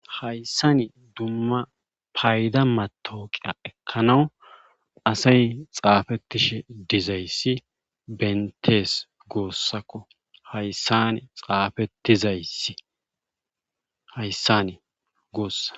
hayssani dumma payda matooqiya ekkanawu asay xaafettishe dizayssi bentees goossakko hayssan xaafettizayi hayssani goossa